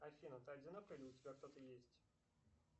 афина ты одинокая или у тебя кто то есть